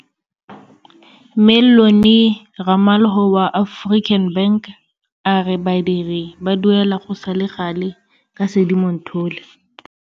Mellony Ramalho wa African Bank a re badiri ba duelwa go sale gale ka Sedimonthole.